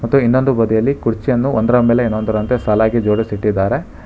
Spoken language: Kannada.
ಇನ್ನೊಂದು ಬದಿಯಲ್ಲಿ ಕುರ್ಚಿಯನ್ನು ಒಂದರ ಮೇಲೆ ಇನ್ನೊಂದರಂತೆ ಸಾಲಾಗಿ ಜೋಡಿಸಿ ಇಟ್ಟಿದ್ದಾರೆ.